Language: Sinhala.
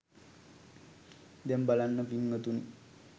දැන් බලන්න පින්වතුනි